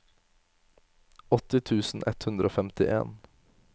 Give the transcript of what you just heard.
åtti tusen ett hundre og femtien